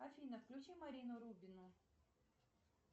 афина включи марину рубину